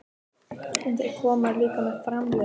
En þeir koma líka með framliðnum.